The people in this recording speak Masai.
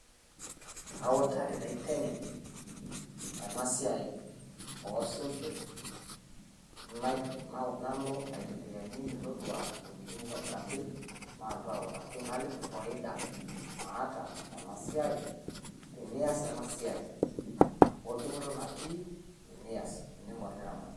Autaaki naiteng'en enaa esiai o siing'ir naloo aitembeane metodua wuejitin noitobiraki naotuu autaaki naliki faidaa naata ena siai tiniaas anaa siai, o duupoto natii tiniaas ning'or niramaat.